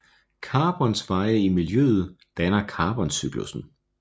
Carbons veje i miljøet danner carboncyklussen